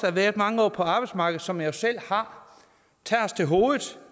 har været mange år på arbejdsmarkedet som jeg jo selv har tager os til hovedet